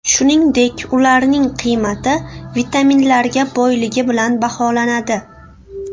Shuningdek, ularning qiymati vitaminlarga boyligi bilan baholanadi.